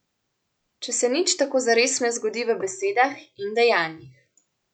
Če se nič tako zares ne zgodi v besedah in dejanjih.